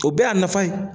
O bɛɛ y'a nafa ye